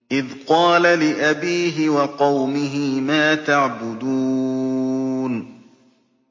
إِذْ قَالَ لِأَبِيهِ وَقَوْمِهِ مَا تَعْبُدُونَ